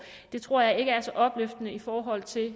det tror jeg ikke er så opløftende i forhold til